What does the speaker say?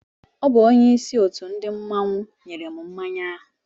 Ọ bu onyeisi òtù ndị mmanwu nyèrè m mmánya áhù